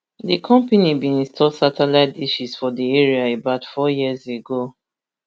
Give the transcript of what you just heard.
di company bin install satellite dishes for di area about four years ago